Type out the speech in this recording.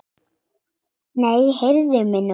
Nei, heyrðu mig nú!